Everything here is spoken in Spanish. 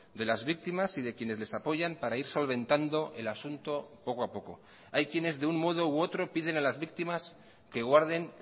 de las víctimas y de quienes les apoyan para ir solventando el asunto poco a poco hay quienes de un modo u otro piden a las víctimas que guarden